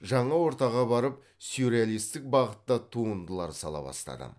жаңа ортаға барып сюрреалистік бағытта туындылар сала бастадым